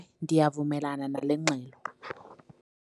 Ndiyavumelana nale ngxelo.